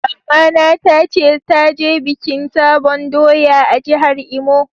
Mama na ta ce ta je bikin sabon doya a'jihar Imo.